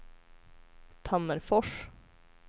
Tammerfors